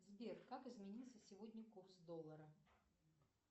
сбер как изменился сегодня курс доллара